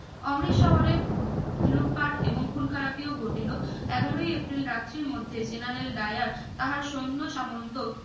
অমৃত শহরে লুটপাট এবং খুন খারাপি ও ঘটিলো এগারোই এপ্রিল রাত্রির মধ্যে generaldayar তাহার সৈন্য সামন্ত